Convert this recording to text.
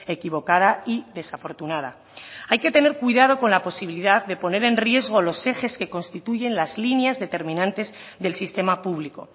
equivocada y desafortunada hay que tener cuidado con la posibilidad de poner en riesgo los ejes que constituyen las líneas determinantes del sistema público